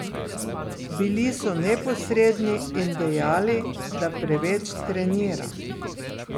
Bili so neposredni in dejali, da preveč treniram.